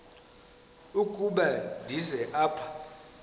ukuba ndize apha